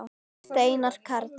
Steinar Karl.